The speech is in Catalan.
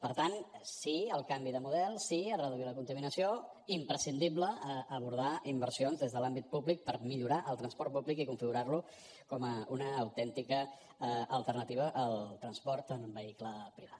per tant sí al canvi de model sí a reduir la contaminació imprescindible abordar inversions des de l’àmbit públic per millorar el transport públic i configurar lo com una autèntica alternativa al transport amb vehicle privat